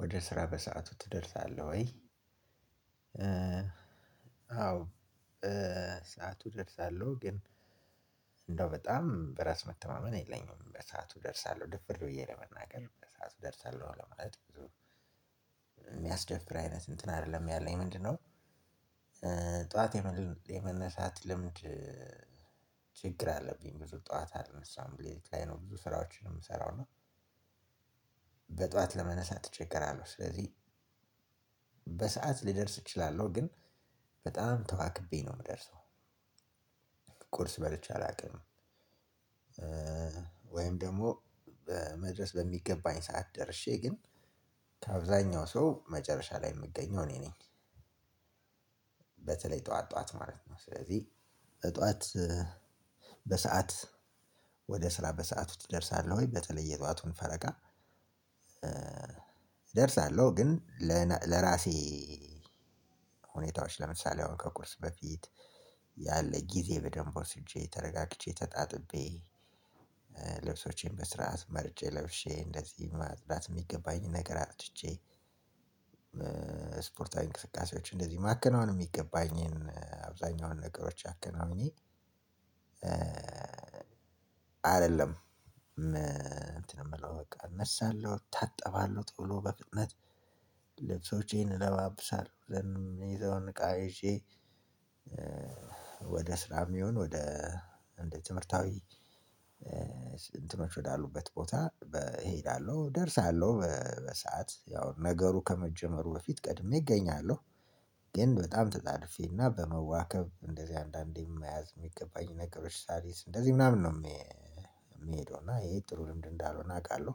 ወደ ስራ በሰአቱ ትደርሳለህ ወይ? አዎ በሰአቱ ደርሳለሁ። ግን እንደው በጣም በራስ መተማመን የለኝም በሰአቱ ደርሳለሁ ድፍር ብዬ ለመናገር በሰአቱ ደርሳለሁ ለማለት ብዙ የሚያስደፍር አይነት እንትን አይደለም። ያለኝ ምንድነው? ጠዋት የመነሳት ልምድ ችግር አለብኝ። ብዙ ጠዋት አልነሳም ቤት ላይ ነው ብዙ ስራዎችን የምሰራው እና በጠዋት ለመነሳት እቸገራለሁ። ስለዚህ በሰአት ልደርስ እችላለሁ ግን በጣም ተዋክቤ ነው ምደርሰው። ቁርስ በልቼ አላውቅም። ወይም ደሞ በመድረስ በሚገባኝ ሰዓት ደርሼ ግን ከአብዛኛው ሰው መጨረሻ ላይ የምገኘው እኔ ነኝ። በተለይ ጠዋት ጠዋት ማለት ነው ስለዚህ ጠዋት በሰአት ወደ ስራ በሰአቱ ትደርሳለህ? ወይ በተለይ የጠዋቱን ፈረቃ። እደርሳለሁ ግን ለራሴ ሁኔታዎች ለምሳሌ ከቁርስ በፊት ያለ ጊዜ በደንብ ወስጄ ተረጋግቼ ተጣጥቤ ልብሶቼን በስራት መርጬ ለብሼ እንደዚህ ማጽዳት ሚገባኝን ነገር አጽድቼ። ስፖርታዊ እንቅስቃሴዎች እንደዚ ማከናወን ሚገባኝን አብዛኛውን ነገሮች አከናውኜ። አደለም እንትን የምለው በቃ እነሳለሁ እታጠባለሁ ቶሎ በፍጥነት ልብሶቼን ለባብሳለው ዘን ምይዘዉን እቃ ይዤ ወደ ስራም ይሁን ወደ እንደ ትምህርታዊ እንትኖች ወዳሉበት ቦታ ሄዳለሁ ደርሳለሁ በሰአት ያው ነገሩ ከመጀመሩ በፊት ቀድሜ እገኛለሁ። ግን በጣም ተጣድፌና በመዋከብ እንደዚህ አንዳንዴ መያዝ የሚገባኝ ነገሮች ሳሊዝ እንደዚህ ምናምን ነው ምሄደው እና ይሄ ጥሩ ልምድ እንዳልሆነ አቃለሁ።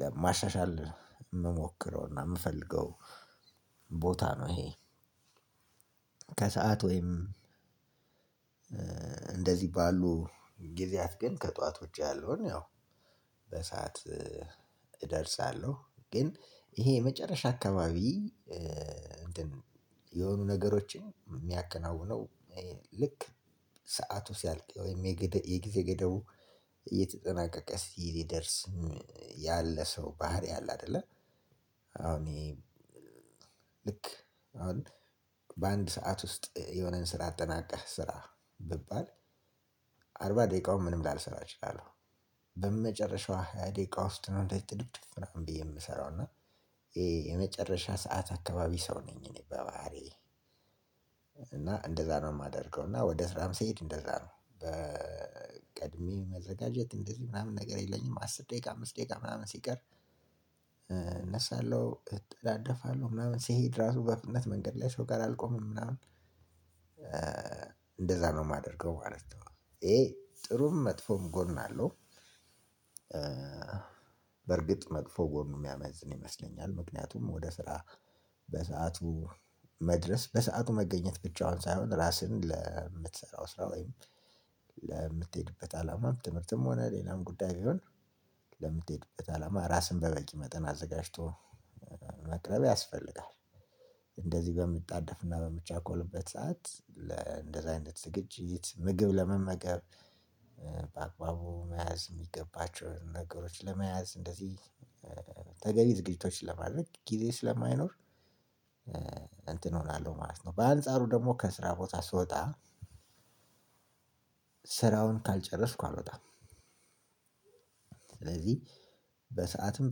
ለማሻሻል ምሞክረውና ምፈልገው ቦታ ነው። ይሄ ከሰአት ወይም እንደዚህ ባሉ ጊዜያት ግን ከጧት ውጪ ያለውን ያው በሰአት እደርሳለሁ። ግን ይሄ የመጨረሻ አከባቢ የሆኑ ነገሮችን ሚያከናውነው ልክ ሰዓቱ ሲያልቅ ወይም የጊዜ ገደቡ እየተጠናቀቀ ሲደርስም ያለ ሰው ባህሪ አለ አደለ። አሁን ይሄ ልክ አሁን በአንድ ሰዓት ውስጥ የሆነን ስራ አጠናቀህ ስራ ብባል አርባ ደቂቃውን ምንም ላልሰራ እችላለሁ። በመጨረሻው ሃያ ደቂቃ ውስጥ ነው እንደዚ ጥድፍድፍ ምናምን ብዬ የምሰራው እና ይሄ የመጨረሻ ሰዓት አካባቢ ሰው ነኝ። እኔ በባህሪዬ እና እንደዛ ነው ማደርገው እና ወደ ስራም ስሄድ እንደዛ ነው በቀድሜ መዘጋጀት እንደዚህ ምናምን ነገር የለኝም። አስር ደቂቃ አምስት ደቂቃ ምናምን ሲቀር እነሳለሁ እጠዳደፋለሁ ምናምን ሲሄድ ራሱ በፍጥነት መንገድ ላይ ሰው ጋር አልቆመም ምናምን እንደዛ ነው ማደርገው ማለት ነው። ይሄ ጥሩም መጥፎም ጎን አለው። በርግጥ መጥፎ ጎኑ ሚያመዝን ይመስለኛል። ምክንያቱም ወደ ስራ በሰአቱ መድረስ በሰአቱ መገኘት ብቻውን ሳይሆን ራስህን ለምትሰራው ስራ ወይም ለምትሄድበት አላማም ትምህርትም ሆነ ሌላም ጉዳይ ቢሆን ለምትሄድበት አላማ ራስን በበቂ መጠን አዘጋጅቶ መቅረብ ያስፈልጋል። እንደዚህ በምጣደፍና በምቻኮልበት ሰዓት ለእንደዚህ አይነት ዝግጅት ምግብ ለመመገብ በአግባቡ መያዝ ሚገባቸውን ነገሮች ለመያዝ እንደዚህ ተገቢ ዝግጅቶች ለማድረግ ጊዜ ስለማይኖር እንትን እሆናለሁ ማለት ነው። በአንጻሩ ደሞ ከስራ ቦታ ስወጣ ስራውን ካልጨረስኩ አሎጣም። ስለዚህ በሰአትም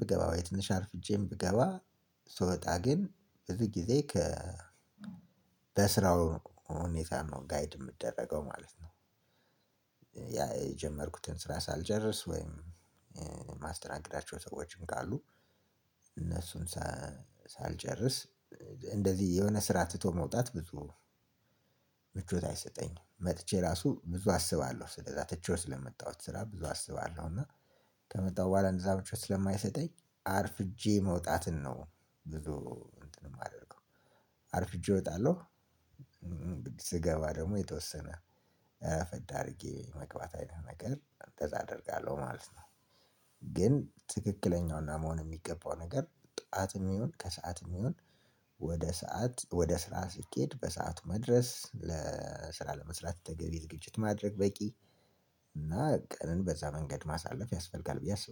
ብገባ ወይ ትንሽ አርፍጄም ብገባ ስወጣ ግን ብዙ ግዜ ከ ሁኔታን ነው ጋይድ ምደረገው ማለት ነው። የጀመርኩትን ስራ ሳልጨርስ ወይም ማስተናግዳቸው ሰዎችም ካሉ እነሱን ሳልጨርስ እንደዚህ የሆነ ስራ ትቶ መውጣት ብዙ ምቾት አይሰጠኝም። መጥቼ ራሱ ብዙ አስባለሁ ስለዛ ትቼው ስለመጣሁት ስራ ብዙ አስባለሁ። እና ከመጣሁ በኋላ እንደዛ ምቾት ስለማይሰጠኝ አርፍጄ መውጣትን ነው። ብዙ እንትን ማደርገው አርፍጄ ወጣለሁ። ስገባ ደሞ የተወሰነ ረፈድ አርጌ መግባት አይነት ነገር እንደዛ አደርጋለሁ ማለት ነው። ግን ትክክለኛዉና መሆን ሚገባው ነገር ጧትም ይሁን ከሰአትም ይሁን ወደ ሰዓት ወደ ስራ ሲኬድ በሰአቱ መድረስ። ስራ ለመስራት ተገቢ ዝግጅት ማድረግ በቂ እና ቀንን በዛ መንገድ ማሳለፍ ያስፈልጋል ብዬ አስባለው